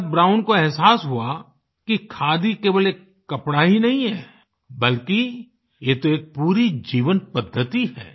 तब ब्राउन को एहसास हुआ कि खादी केवल एक कपड़ा ही नहीं है बल्कि ये तो एक पूरी जीवन पद्धति है